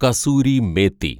kasuri methi